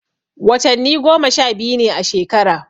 Watanni goma sha biyu ne a shekara.